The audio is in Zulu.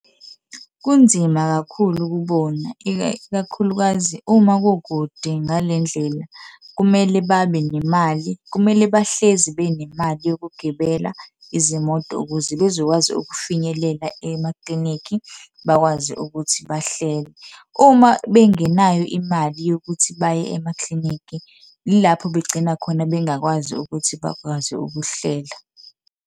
Kunzima kakhulu kubona, ikakhulukazi uma kukude ngale ndlela kumele babe nemali, kumele bahlezi benemali yokugibela izimoto ukuze bezokwazi ukufinyelela emaklinikhi bakwazi ukuthi bahlele. Uma bengenayo imali yokuthi baye emaklinikhi yilapho begcina khona bengakwazi ukuthi bakwazi ukuhlela.